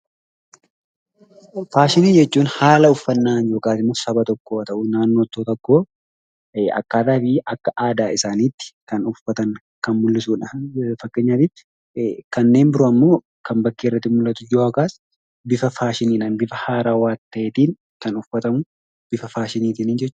Faashinii jechuun haala uffannaa yookiin Saba tokkoo yookin naannoo tokkoo akkaataa aadaa isaaniitti kan uffatan kan mul'isuudha. Fakkeenyaaf kanneen biroo immoo bifa faashinii ta'een kan uffatamuu dha.